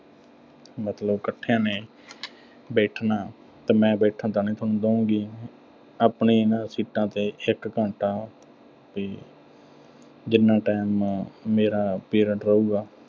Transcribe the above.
ਵੀ ਮਤਲਬ ਇਕੱਠਿਆਂ ਨੇ ਬੈਠਣਾ ਤੇ ਮੈਂ ਬੈਠਣ ਤਾਂ ਨੀਂ ਸੋਨੂੰ ਦੇਊਂਗੀ। ਆਪਣੀਆਂ ਇਨ੍ਹਾਂ seats ਤੇ ਇੱਕ ਘੰਟਾ ਤੇ ਜਿੰਨਾ time ਮੈਂ ਅਹ ਮੇਰਾ period ਰਹੂਗਾ